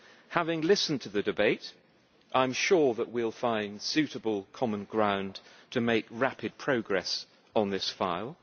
Having listened to the debate, I am sure that we will find suitable common ground to make rapid progress on this file.